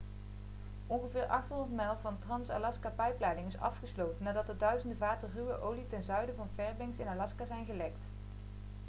ongeveer 800 mijl van de trans-alaska-pijpleiding is afgesloten nadat er duizenden vaten ruwe olie ten zuiden van fairbanks in alaska zijn gelekt